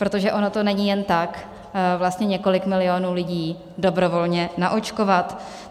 Protože ono to není jen tak vlastně několik milionů lidí dobrovolně naočkovat.